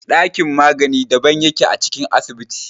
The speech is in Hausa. Ɗakin magani daban yake a cikin asibiti.